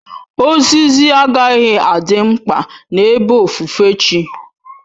Ozizi agaghị adị mkpa n'ebe ofufe chi